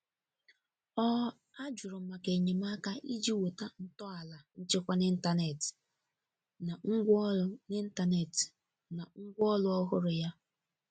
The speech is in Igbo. Ọ ajụrụ maka enyemaka iji wota ntọala nchekwa n'intanetị na ngwaọrụ n'intanetị na ngwaọrụ ọhụrụ ya.